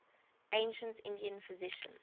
ancient indian physicians